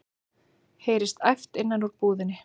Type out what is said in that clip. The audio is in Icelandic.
heyrist æpt innan úr búðinni.